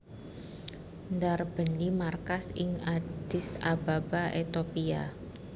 ndarbèni markas ing Addis Ababa Ethiopia